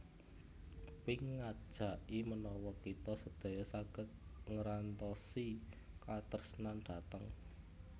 Pink ngajaki menawa kita sedaya saget ngerantosi katresnan dhateng